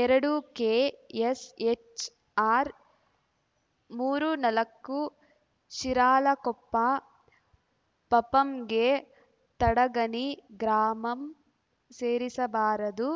ಎರಡು K S H R ಮೂರು ನಾಲಕ್ಕು ಶಿರಾಳಕೊಪ್ಪ ಪಪಂಗೆ ತಡಗಣಿ ಗ್ರಾಮಂ ಸೇರಿಸಬಾರದು